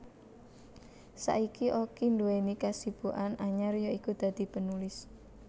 Saiki Oki nduweni kasibukan anyar ya iku dadi penulis